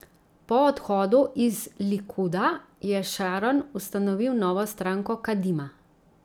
Po odhodu iz Likuda je Šaron ustanovil novo stranko Kadima.